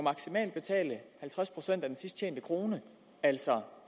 betale halvtreds procent af den sidst tjente krone altså